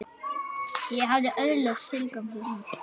Ég hafði öðlast tilgang þarna.